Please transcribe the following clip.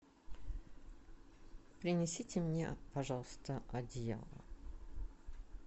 принесите мне пожалуйста одеяло